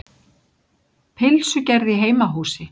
Pylsugerð í heimahúsi.